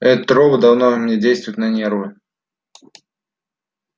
этот робот давно мне действует на нервы